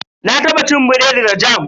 Na taba cin biredi da jam.